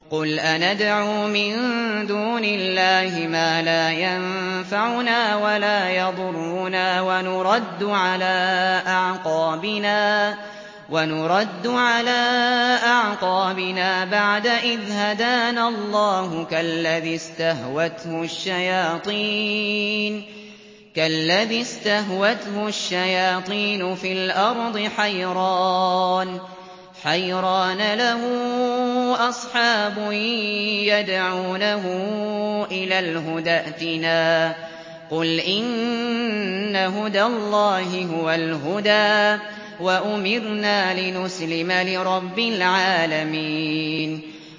قُلْ أَنَدْعُو مِن دُونِ اللَّهِ مَا لَا يَنفَعُنَا وَلَا يَضُرُّنَا وَنُرَدُّ عَلَىٰ أَعْقَابِنَا بَعْدَ إِذْ هَدَانَا اللَّهُ كَالَّذِي اسْتَهْوَتْهُ الشَّيَاطِينُ فِي الْأَرْضِ حَيْرَانَ لَهُ أَصْحَابٌ يَدْعُونَهُ إِلَى الْهُدَى ائْتِنَا ۗ قُلْ إِنَّ هُدَى اللَّهِ هُوَ الْهُدَىٰ ۖ وَأُمِرْنَا لِنُسْلِمَ لِرَبِّ الْعَالَمِينَ